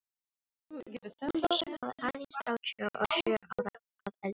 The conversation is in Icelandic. Kristján var aðeins þrjátíu og sjö ára að aldri.